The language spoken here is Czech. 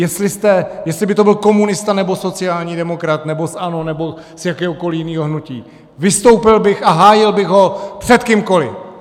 Jestli by to byl komunista, nebo sociální demokrat, nebo z ANO, nebo z jakéhokoliv jiného hnutí, vystoupil bych a hájil bych ho před kýmkoliv.